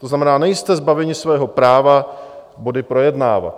To znamená, nejste zbaveni svého práva body projednávat.